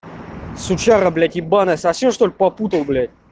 сучара блять ебанная совсем что-ли попутал блядь